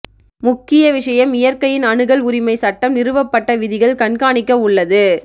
முக்கிய விஷயம் இயற்கையின் அணுகல் உரிமை சட்டம் நிறுவப்பட்ட விதிகள் கண்காணிக்க உள்ளது